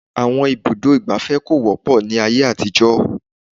Àwọn ibùdó ìgbafẹ́ kò wọ́pọ̀ ní ayé àtijó.